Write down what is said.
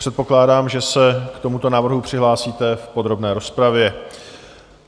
Předpokládám, že se k tomuto návrhu přihlásíte v podrobné rozpravě.